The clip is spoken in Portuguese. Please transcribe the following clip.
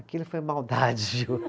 Aquilo foi maldade,